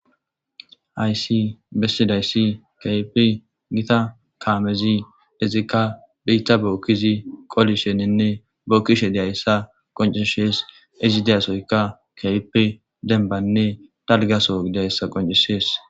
Aysi bessidayssi kyipi gita kaamezi dezikka biitta bookkizi qoli shenenne bookkishe deayssa qoncishees izi deyasoyka kaipe dembanne dalgaso gidayssa qoncishees.